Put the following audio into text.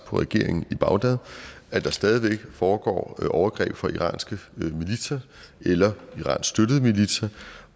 på regeringen i bagdad at der stadig væk foregår overgreb fra iranske militser eller iransk støttede militser